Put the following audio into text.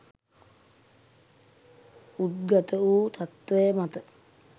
උද්ගත වු තත්ත්වය මත